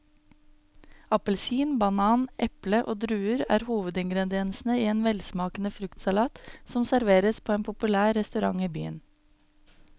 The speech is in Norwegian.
Appelsin, banan, eple og druer er hovedingredienser i en velsmakende fruktsalat som serveres på en populær restaurant i byen.